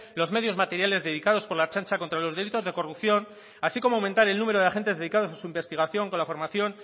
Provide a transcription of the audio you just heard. los medios materiales dedicados por la ertzaintza contra los delitos de corrupción así como aumentar el número de agentes dedicados a su investigación con la formación